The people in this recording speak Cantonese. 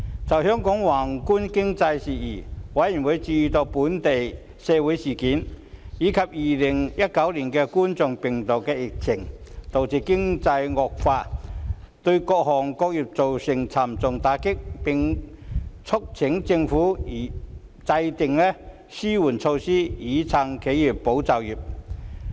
就香港宏觀經濟事宜，委員關注本地社會事件及2019冠狀病毒病疫情，導致經濟情況惡化，對各行各業造成沉重打擊，並促請政府制訂紓困措施以"撐企業、保就業"。